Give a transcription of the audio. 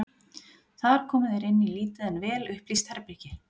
Þar komu þeir inn í lítið en vel upplýst herbergi.